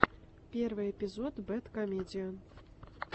первый эпизод бэд комедиан